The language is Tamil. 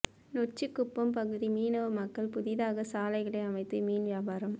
நொச்சிக்குப்பம் பகுதி மீனவ மக்கள் புதிதாக சாலைகளை அமைத்து மீன் வியாபாரம்